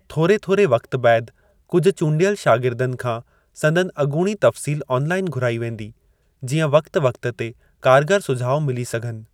थोरे थोरे वक़्ति बैदि कुझु चूंडियल शागिर्दनि खां संदनि अॻूणी तफ़्सील ऑनलाईन घुराई वेंदी, जीअं वक़्ति वक़्ति ते कारगर सुझाव मिली सघनि।